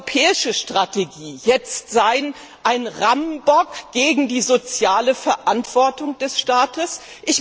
Soll die europäische Strategie jetzt ein Rammbock gegen die soziale Verantwortung des Staates sein?